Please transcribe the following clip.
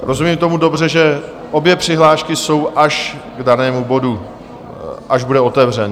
Rozumím tomu dobře, že obě přihlášky jsou až k danému bodu, až bude otevřen?